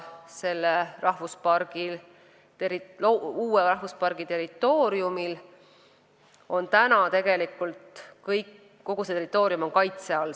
Uue rahvuspargi kogu territoorium on praegu kaitse all.